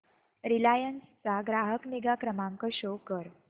Reliance चा ग्राहक निगा क्रमांक शो कर